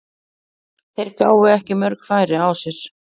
Þeir gáfu ekki mörg færi á sér.